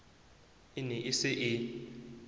e ne e se e